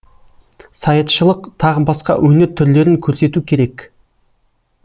саятшылық тағы басқа өнер түрлерін көрсету керек